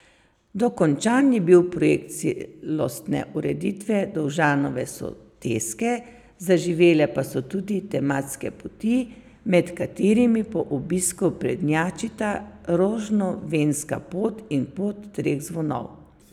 Dokončan je bil projekt celostne ureditve Dovžanove soteske, zaživele pa so tudi tematske poti, med katerimi po obisku prednjačita Rožnovenska pot in Pot treh zvonov.